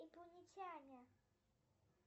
инопланетяне